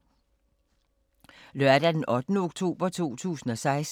Lørdag d. 8. oktober 2016